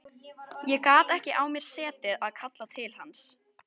Ég gat ekki á mér setið að kalla til hans.